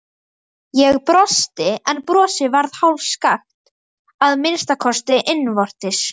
Ég brosti, en brosið varð hálfskakkt, að minnsta kosti innvortis.